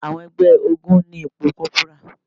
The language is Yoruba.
Àwọn ẹgbẹ́ ogún ní ipò kọ́bùrà.